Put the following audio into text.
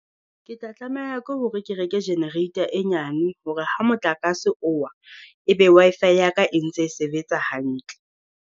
Ke tla tlameha ke hore ke reke generator e nyane hore ha motlakase o wa, e be Wi-Fi ya ka e ntse e sebetsa hantle.